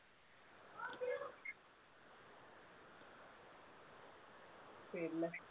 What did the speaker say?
പിന്നെ.